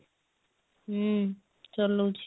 ହୁଁ ଚଲଉଛି